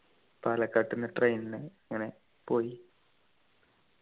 പാലക്കാട്ടുന്നു train നു ഇങ്ങനെ പോയി